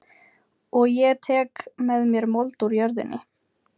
Og ég tek með mér mold úr jörðinni.